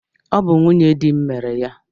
Ọ bụ nwunye di m mere ya